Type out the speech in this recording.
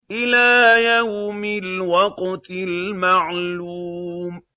إِلَىٰ يَوْمِ الْوَقْتِ الْمَعْلُومِ